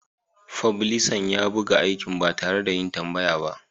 Fublisan ya buga aikin ba tare da yin tambaya ba.